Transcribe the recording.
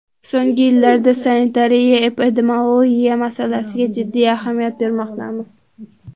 So‘nggi yillarda sanitariya-epidemiologiya masalasiga jiddiy ahamiyat bermoqdamiz.